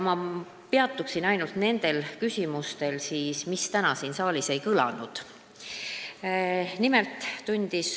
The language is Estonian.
Nii peatungi ma ainult nendel küsimustel, mis täna siin saalis ei kõlanud.